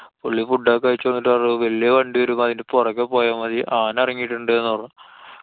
പുള്ളി food ഒക്കെ കഴിച്ച് വന്നിട്ട് പറഞ്ഞു. വല്യേ വണ്ടി വരുമ്പോ അതിന്‍റെ പൊറകെ പോയാമതി. ആന എറങ്ങിട്ടുണ്ട്ന്നു പറഞ്ഞു.